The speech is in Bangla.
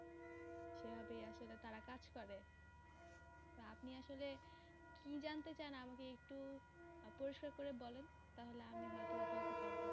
সে ভাবেই আসলে তারা কাজ করে। আপনি আসলে কি জানতে চান আমাকে একটু পরিষ্কার করে বলেন তাহলে আমি হয় তো বা বলতে পারবো।